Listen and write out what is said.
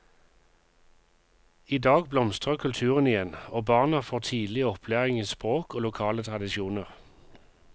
I dag blomstrer kulturen igjen, og barna får tidlig opplæring i språk og lokale tradisjoner.